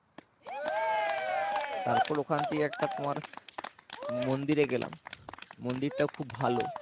তারপর ওখান থেকে একটা তোমার মন্দিরে গেলাম মন্দিরটাও খুব ভালো